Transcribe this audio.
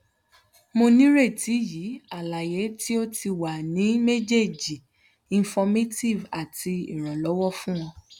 mo nireti yi alaye ti o ti wa ni mejeeji informative ati iranlọwọ fun o